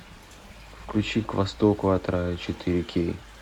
включи к востоку от рая четыре кей